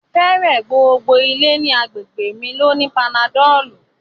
Fẹẹrẹ gbogbo ilẹ̀ ni àgbégbe mi ló ní panadọlù